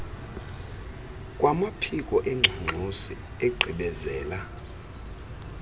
kwamaphiko engxangxosi igqibezela